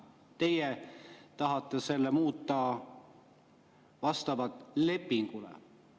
Teie tahate selle muuta, et vastavalt lepingule.